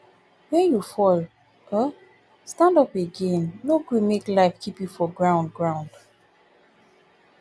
wen you fall um stand up again no gree make life keep you for ground ground